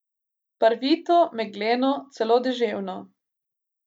Barvito, megleno, celo deževno.